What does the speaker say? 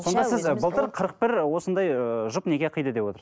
сонда сіз ы былтыр қырық бір осындай ыыы жұп неке қиды деп